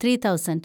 three thousand